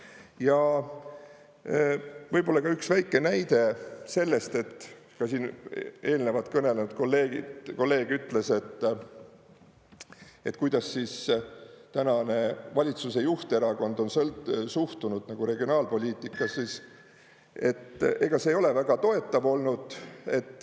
Ja võib-olla ka üks väike näide sellest, et ka siin eelnevalt kõnelenud kolleeg ütles, et kuidas siis tänane valitsuse juhterakond on suhtunud regionaalpoliitikasse, et ega see ei ole väga toetav olnud.